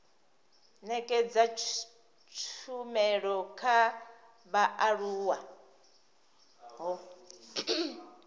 nekedza tshumelo kha vhaaluwa ho